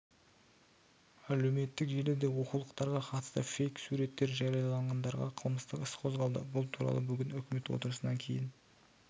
әлеуметтік желіде оқулықтарға қатысты фейк суреттер жариялағандарға қылмыстық іс қозғалды бұл туралы бүгін үкімет отырысынан кейін